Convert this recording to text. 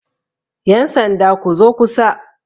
yansanda ku zo kusa!